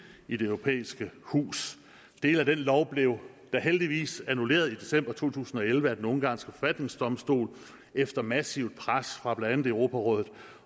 i det europæiske hus dele af den lov blev da heldigvis annulleret i december to tusind og elleve af den ungarske forfatningsdomstol efter massivt pres fra blandt andet europarådet